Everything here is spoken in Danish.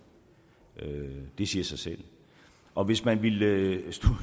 det siger sig selv og hvis man ville